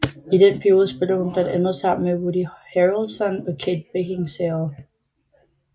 I den periode spillede hun blandt andet sammen med Woody Harrelson og Kate Beckinsale